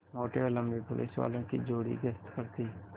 मोटे और लम्बे पुलिसवालों की जोड़ी गश्त पर थी